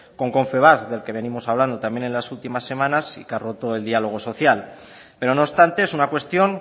con confebask del que venimos hablando también en las últimas semanas y que ha roto el diálogo social pero no obstante es una cuestión